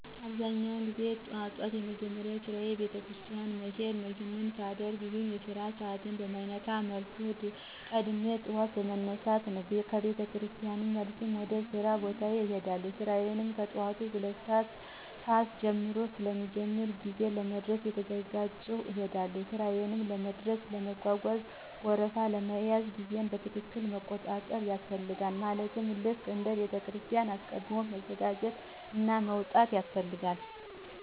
አብዛኛውን ጊዜ ጠዋት ጠዋት የመጀመሪያ ስራየ ቤተክርስቲያን መሄድ ነው፣ ይሄን ሳደርግ ግን የስራ ሰዓቴን በማይነካ መልኩ ቀድሜ ጠዋት በመነሳት ነው፣ ከ ቤተክርስቲያን መልስም ወደ ሥራ ቦታዬ እሄዳለሁ። ስራዬ ከጠዋቱ 2:00 ሰዓት ጀምሮ ስለሚጀምር በጊዜ ለመድረስ እየተዘጋጀሁ እሄዳለሁ። ሥራዬ ለመድረስ ለመጓጓዣ ወረፋ ለመያዝ ጊዜየን በትክክል መቆጣጠር ያስፈልጋል ማለትም ልክ እንደ ቤተክርስቲያኑ አስቀድም መዘጋጀትና መውጣት ያስፈልጋል።